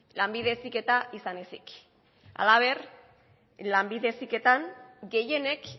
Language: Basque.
lanbide heziketa izan ezik halaber lanbide heziketan gehienek